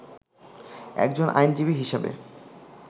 একজন আইনজীবী হিসাবে